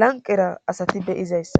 lanqera asati beyizayssa